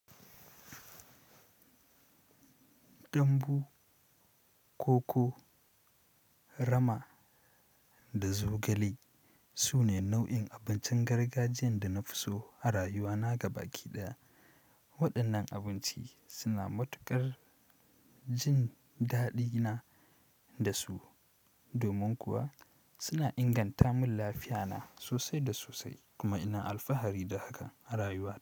Dambu, koko, rama da zogale, sune nau'in abincin gargajiyan da nafi so a rayuwana gabaki ɗaya. Waɗannan abinci suna matuƙar jin daɗina da su, domin kuwa suna inganta min lafiya na sosai da sosai kuma ina alfahari da haka a rayuwa.